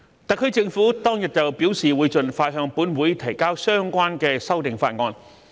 特區政府當日表示會盡快向本會提交相關的修訂法案。